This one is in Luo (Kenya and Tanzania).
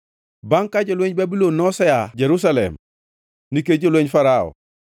Bangʼ ka jolwenj Babulon nose aa Jerusalem nikech jolwenj Farao,